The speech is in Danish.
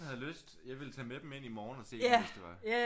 Havde lyst jeg ville tage med dem ind i morgen hvis det var